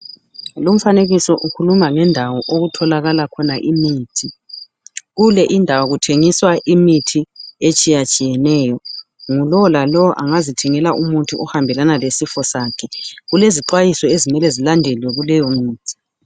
Lumfanekiso ukhuluma ngendawo okutholakala khona imithi. Kule indawo kuthengiswa imithi etshiyatshiyeneyo. Ngu lo la lo engazithengela umuthi ohambelana lesifo sakhe. Kulezixwayiso ezimele zilandelwe kuleyo mithi.